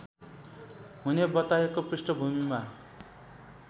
हुने बताएको पृष्ठभूमिमा